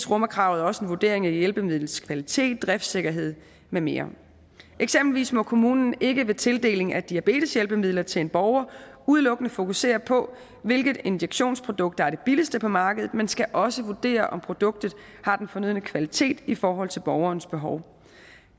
rummer kravet også en vurdering af hjælpemidlets kvalitet driftssikkerhed med mere eksempelvis må kommunen ikke vil tildeling af diabeteshjælpemidler til en borger udelukkende fokusere på hvilket injektionsprodukt der er det billigste på markedet men skal også vurdere om produktet har den fornødne kvalitet i forhold til borgerens behov